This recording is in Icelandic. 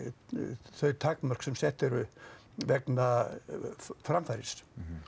þau takmörk sem sett eru vegna framfærslu